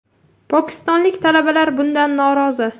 Pokistonlik talabalar bundan norozi.